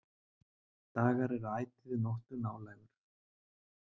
Dagar er ætíð nóttu nálægur.